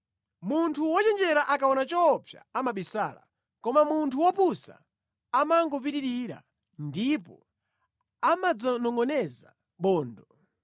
Munthu wochenjera akaona choopsa amabisala, koma munthu wopusa amangopitirira ndipo amadzanongʼoneza bondo.